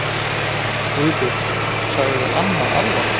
Guðbjörg, sagði amma alvarleg.